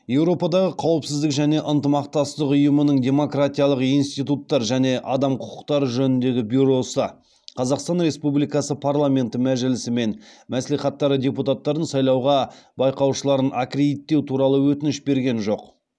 еуропадағы қауіпсіздік және ынтымақтастық ұйымының демократиялық институттар және адам құқықтары жөніндегі бюросы қазақстан республикасы парламенті мәжілісі мен мәслихаттары депутаттарын сайлауға байқаушыларын аккредиттеу туралы өтініш берген жоқ